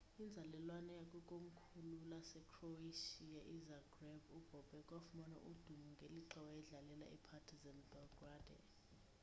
inzalelwane yakwikomkhulu lasecroatia izagreb ubobek wafumana udumo ngelixa wayedlalela ipartizan belgrade